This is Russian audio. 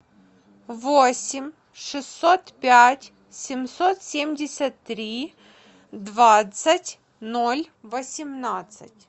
восемь шестьсот пять семьсот семьдесят три двадцать ноль восемнадцать